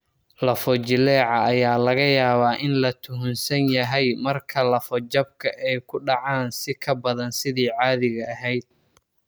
Lafo-jileeca ayaa laga yaabaa in la tuhunsan yahay marka lafo-jabka ay u dhacaan si ka badan sidii caadiga ahayd.